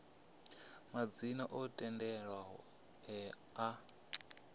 madzina o tendelwaho e a